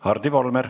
Hardi Volmer.